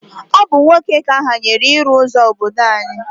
Ọ bụ nwoke ka ahanyere ịrụ ụzọ obodo anyị